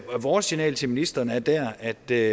vores signal til ministeren er der at det